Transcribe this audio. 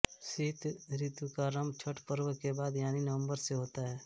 शीत ऋतु का आरंभ छठ पर्व के बाद यानी नवंबर से होता है